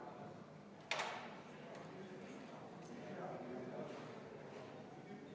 Palun võtta seisukoht ja hääletada!